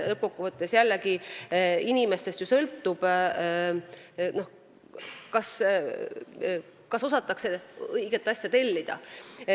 Lõppkokkuvõttes sõltub ju inimestest, kas osatakse õiget asja tellida.